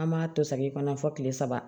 An b'a to sagin kɔnɔ fo kile saba